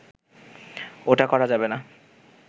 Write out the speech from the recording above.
ওটা করা যাবে না